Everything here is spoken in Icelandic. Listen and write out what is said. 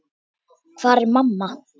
Hvar er mamma?